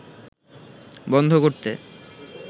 বন্ধ করতে